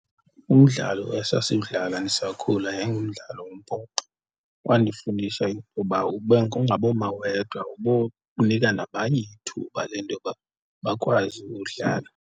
Umdlalo esasiwudlala ndisakhula yayingumdlalo wombhoxo, wandifundisa intoba ungaboma wedwa, ubonika nabanye ithuba le ntoba bakwazi udlala.